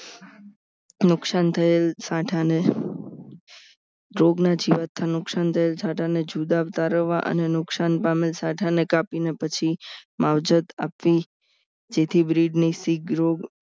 નુકસાન થયેલ સાંઠા ને માં જીવાત માં નુકસાન થયેલ સાંઠા ને જુદા તારવવા અને નુકસાન પામેલ સાઠા ને કાપીને પછી માવજત આપી જેથી બ્રિજની સીખ રોગ